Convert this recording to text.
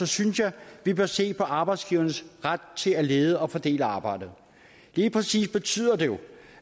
synes jeg vi bør se på arbejdsgivernes ret til at lede og fordele arbejdet helt præcist betyder det jo